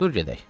Dur gedək.